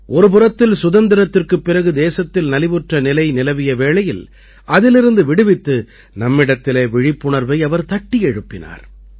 ஒரு புறத்தில் சுதந்திரத்திற்குப் பிறகு தேசத்தில் நலிவுற்ற நிலை நிலவிய வேளையில் அதிலிருந்து விடுவித்து நம்மிடத்திலே விழிப்புணர்வை அவர் தட்டி எழுப்பினார்